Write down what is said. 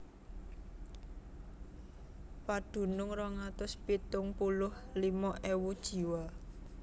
Padunung rong atus pitung puluh limo ewu jiwa